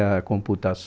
A